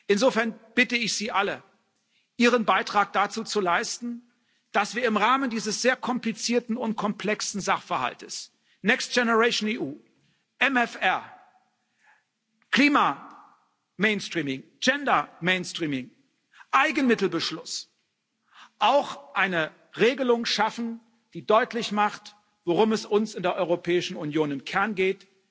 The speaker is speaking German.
Insofern bitte ich Sie alle, Ihren Beitrag dazu zu leisten, dass wir im Rahmen dieses sehr komplizierten und komplexen Sachverhaltes Next Generation EU, MFR, Klima Mainstreaming, Gender Mainstreaming, Eigenmittelbeschluss auch eine Regelung schaffen, die deutlich macht, worum es uns in der Europäischen Union im Kern geht,